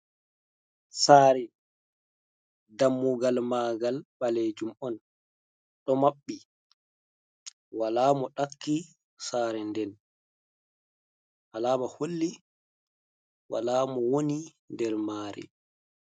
Sare dammugal magal balejum on ,do mabbi wala mo dakki sare nden alama holli wala mo woni der mare.